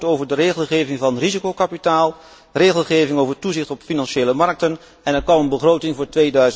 Een akkoord over de regelgeving voor risicokapitaal, regelgeving over toezicht op financiële markten én een begroting voor